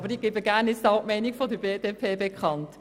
Aber ich gebe gern die Meinung der BDP bekannt.